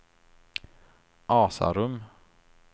Asarum